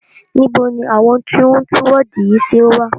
Níbo ní àwọn tí o ń tún wọ́ọ̀du yìí ṣe wà?